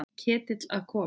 Ketill að koma?